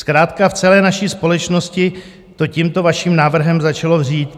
Zkrátka, v celé naší společnosti to tímto vaším návrhem začalo vřít.